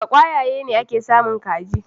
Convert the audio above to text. Daga kwayaye ne ake samun kaji.